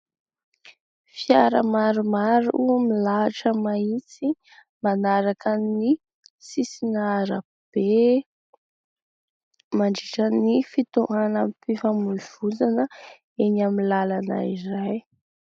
Fiara maromaro no milahatra mahitsy manaraka ny sisin'arabe mandritra ny fitohanam-pifamoivoizana eny amin'ny lalana iray